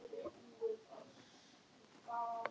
Þorlaug, hvenær kemur leið númer þrjátíu og átta?